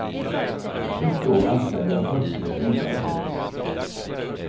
Ett år anställde jag fyrtio flygare.